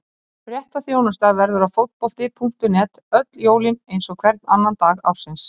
Fréttaþjónusta verður á Fótbolti.net öll jólin eins og hvern annan dag ársins.